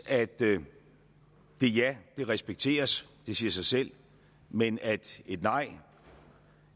at det ja respekteres det siger sig selv men at et nej